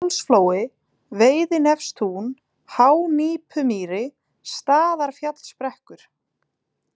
Pálsflói, Veiðinefstún, Hánípumýri, Staðarfjallsbrekkur